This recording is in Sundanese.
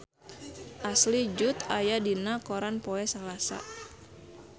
Ashley Judd aya dina koran poe Salasa